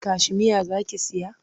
Kashimeya za ki saya?